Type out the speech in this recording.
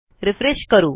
refresh करू